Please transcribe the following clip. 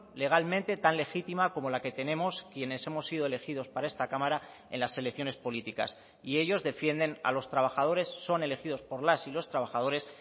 legalmente tan legítima como la que tenemos quienes hemos sido elegidos para esta cámara en las elecciones políticas y ellos defienden a los trabajadores son elegidos por las y los trabajadores